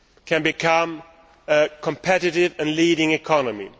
can become a competitive and leading economy.